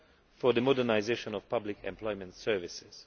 for the modernisation of public employment services.